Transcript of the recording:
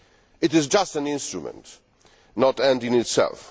It is just an instrument, not an end in itself.